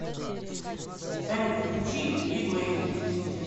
салют включи лиглей